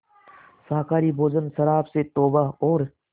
शाकाहारी भोजन शराब से तौबा और